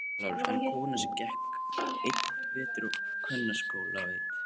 LÁRUS: En konan sem gekk einn vetur á kvennaskóla veit.